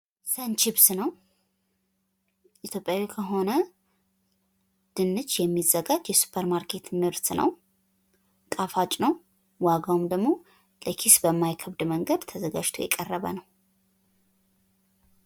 ሰን ችፕስ ነው። ኢትዮጵያዊ ከሆነ ድንች የሚዘጋጅ የሱፐር ማርኬት ምርት ነው። ጣፋጭ ነው። ዋጋውም ደግሞ ኪስን በማይከብድ መንገድ ተዘጋጅቶ የቀረበ ነው።